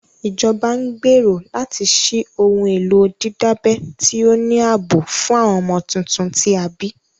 Ìjọba ń gbèrò láti ṣí ohun èlò dídábẹ́ tí ó ní ààbò fún àwọn ọmọ tuntun tí a bí